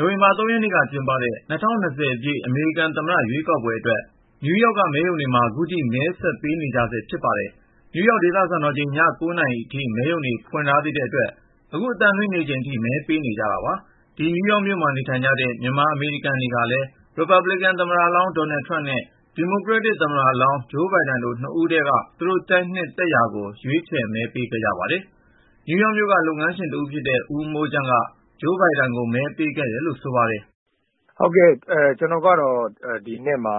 ိုဝင်ဘာ ၃ ရက်နေ့က ကျင်းပတဲ့ ၂၀၂၀ အမေရိကန်သမ္မတ ရွေးကောက်ပွဲအတွက် နယူးယောက်က မဲရုံတွေမှာ ခုထိ မဲဆက်ပေးနေကြဆဲ ဖြစ်ပါတယ်။ နယူးယောက် ဒေသစံတော်ချိန် ည ၉ နာရီအထိ မဲရုံတွေ ဖွင့်ထားတဲ့အတွက် အခု အသံလွှင့်နေချိန်ထိ မဲပေးနေကြတာပါ။ နယူးယောက်မြို့မှာ နေကြတဲ့ မြန်မာအမေရိကန်တွေကလည်း ရီပတ်ဘလစ်ကန် သမ္မတလောင်း ဒေါ်နယ်ထရမ့် နဲ့ ဒီမိုကရက်တစ် သမ္မတလောင်း ဂျိုးဘိုင်ဒန် တို့ ၂ ဦးထဲက သူတို့ ကြိုက်နှစ်သူကို ရွေးချယ် မဲပေးခဲ့ကြပါတယ်။ နယူးယောက်မြို့က လုပ်ငန်းရှင်တဦးဖြစ်တဲ့ ဦးမိုးချမ်းက ဂျိုးဘိုင်ဒန်ကို မဲပေးခဲ့တယ်လို့ ဆိုပါတယ်။ " ကျနော်ကတော့ ဒီနှစ်မှာ